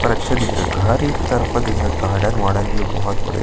पर अच्छा दिख रहा है घर एक तरफा दिख रहा है गार्डन वार्डेन भी है बहुत बढ़िया --